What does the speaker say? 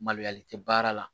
Maloyalen tɛ baara la